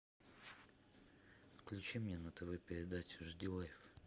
включи мне на тв передачу жди лайф